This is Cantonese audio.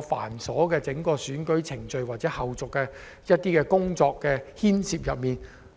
繁瑣的選舉程序或後續工作